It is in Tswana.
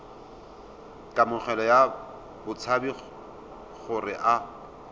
kamogelo ya batshabi gore a